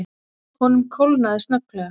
Honum kólnaði snögglega.